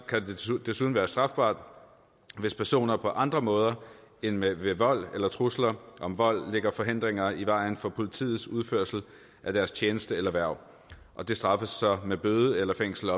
desuden være strafbart hvis personer på andre måder end ved vold eller trusler om vold lægger forhindringer i vejen for politiets udførelse af deres tjeneste eller hverv og det straffes så med bøde eller fængsel